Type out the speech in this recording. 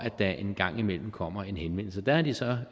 der en gang imellem kommer en henvendelse der har de så